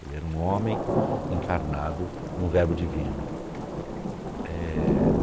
Ele era um homem encarnado em um verbo divino. É...